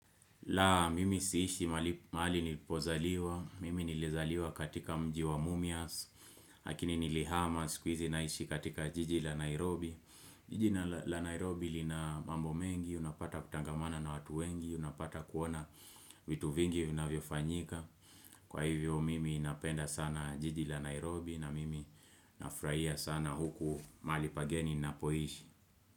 La mimi siishi mahali nipozaliwa, mimi nilizaliwa katika mjiwa mumias, lakini nilihamas kwizi naishi katika jiji la Nairobi jiji la Nairobi lina mambo mengi, unapata kutangamana na watu wengi, unapata kuona vitu vingi vinavyo fanyika Kwa hivyo mimi napenda sana jiji la Nairobi na mimi nafurahia sana huku mahali pageni nina poishi.